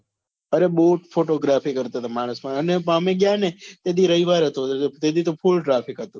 અરે બહુ જ photography કરતા તા માણસો અને અમે ગયા ને તે દી રવિવાર હતો તે દી તો full traffic હતું.